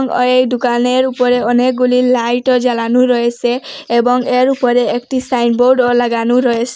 ওই দুকানের উপরে অনেকগুলি লাইটও জ্বালানো রয়েসে এবং এর উপরে একটি সাইনবোর্ডও লাগানো রয়েস--